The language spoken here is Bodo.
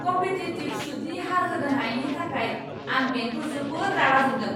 कम्पेटिटिव सुदनि हार होनो हायैनि थाखाय आं बेंखौ जोबोद रागा जोंदों।